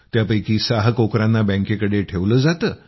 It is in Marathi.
त्यापैकी 6 कोकरांना बॅंकेकडे ठेवलं जातं